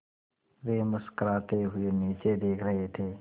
वे मुस्कराते हुए नीचे देख रहे थे